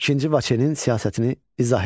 İkinci Vaçenin siyasətini izah edin.